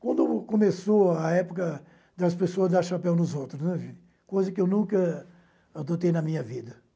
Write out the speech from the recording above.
Quando começou a época das pessoas dar chapéu nos outros, né, coisa que eu nunca adotei na minha vida.